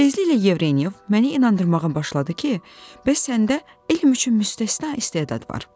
Tezliklə Yevrenyov məni inandırmağa başladı ki, bəs səndə elm üçün müstəsna istedad var.